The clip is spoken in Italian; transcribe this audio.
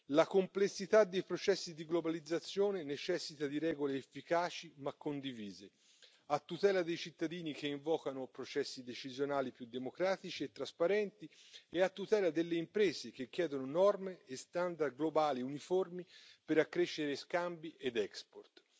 La complessità dei processi di globalizzazione necessita di regole efficaci ma condivise, a tutela dei cittadini che invocano processi decisionali più democratici e trasparenti e a tutela delle imprese che chiedono norme e standard globali uniformi per accrescere scambi ed export.